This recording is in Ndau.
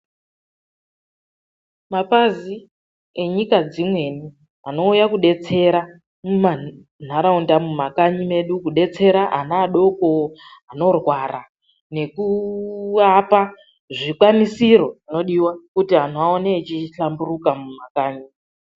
Mapazi enyika dzimweni anouya kudetsera mumantaraunda, mumakanyi medu kudetsera ana adoko anorwara nekuwapa zvikwanisiro zvinodiwa kuti antu aone achihlamburuka mumakanyi.